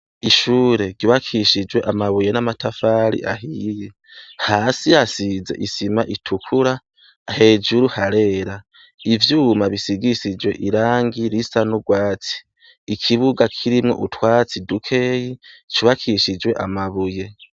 Ishure ryubakishijwe amabuye n'amatafari ahiye, hasi hasize isima itukura, hejuru harera, ivyuma bisigishijwe irangi risa n'urwatsi, ikibuga kirimwo utwatsi dukeyi cubakishijwe amabuye.